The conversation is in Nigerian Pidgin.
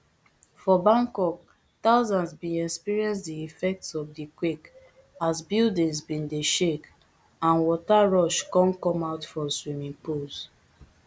for bangkok thousands bin experience di effects of di quake as buildings bin dey shake and water rush come come out from swimming pools